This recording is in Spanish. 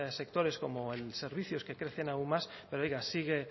sectores como servicios que crecen aún más pero oiga